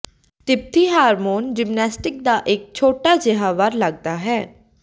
ਤਿੱਬਤੀ hormone gymnastics ਦਾ ਇੱਕ ਛੋਟਾ ਜਿਹਾ ਵਾਰ ਲੱਗਦਾ ਹੈ